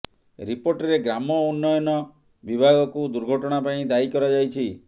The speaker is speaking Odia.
ରିପୋର୍ଟରେ ଗ୍ରାମ ଉନ୍ନୟ ବିଭାଗକୁ ଦୁର୍ଘଟଣା ପାଇଁ ଦାୟୀ କରାଯାଇଛି